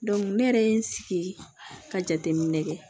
ne yɛrɛ ye n sigi ka jateminɛ kɛ